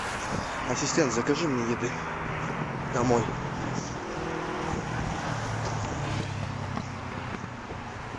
ассистент закажи мне еды домой